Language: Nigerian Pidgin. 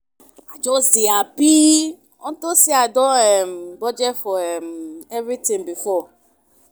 I just dey happy unto say I don um budget for um everything before